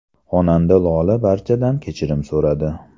Xonanda Lola barchadan kechirim so‘radi.